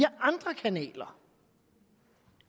andre kanaler